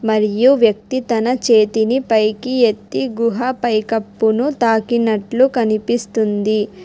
మరియు వ్యక్తి తన చేతిని పైకి ఎత్తి గుహ పైకప్పును తాకినట్లు కనిపిస్తుంది.